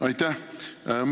Aitäh!